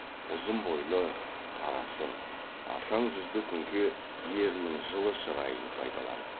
ұзын бойлы қара сұр ашаң жүзді күнке ерінің жылы шырайын пайдаланып